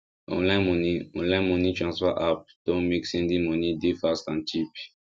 online money online money transfer app don make sending money dey fast and cheap